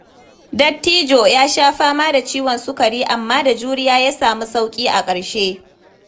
Dattijo ya sha fama da ciwon sukari, amma da juriya ya samu sauƙi a ƙarshe.